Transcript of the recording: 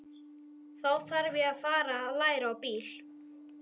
Þá þarf ég að fara að læra á bíl.